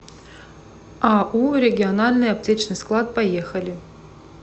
ау региональный аптечный склад поехали